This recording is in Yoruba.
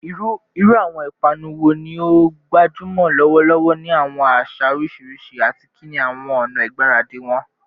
Iru awọn ipanu wo ni o gbajumọ lọwọlọwọ ni awọn aṣa oriṣiriṣi, ati kini awọn ọna igbaradi wọn?